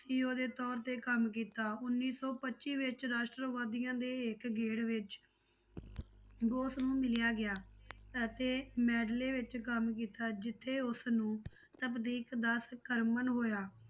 CO ਦੇ ਤੌਰ ਤੇ ਕੰਮ ਕੀਤਾ ਉੱਨੀ ਸੌ ਪੱਚੀ ਵਿੱਚ ਰਾਸ਼ਟਰਵਾਦੀਆਂ ਦੇ ਹਿੱਕ ਗੇੜ ਵਿੱਚ ਬੋਸ ਨੂੰ ਮਿਲਿਆ ਗਿਆ ਅਤੇ ਮੈਡਲੇ ਵਿੱਚ ਕੰਮ ਕੀਤਾ ਜਿੱਥੇ ਉਸਨੂੰ ਕਰਮਨ ਹੋਇਆ।